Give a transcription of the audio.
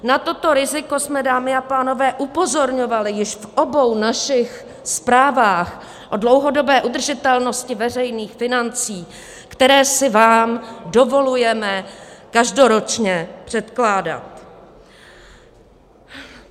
Na toto riziko jsme, dámy a pánové, upozorňovali již v obou našich zprávách o dlouhodobé udržitelnosti veřejných financí, které si vám dovolujeme každoročně předkládat.